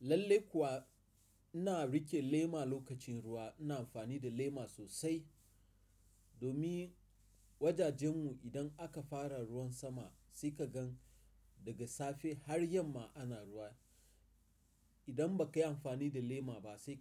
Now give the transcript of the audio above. Lallai kuwa ina riƙe lema lokacin ruwa, ina amfani da lema sosai. Domin wajajen mu idan aka fara ruwan sama sai ka ga daga safe har yamma ana ruwa. Idan ba ka yi amfani da lema ba sai